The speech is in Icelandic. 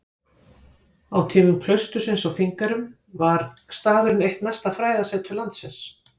Á tímum klaustursins á Þingeyrum var staðurinn eitt mesta fræðasetur landsins.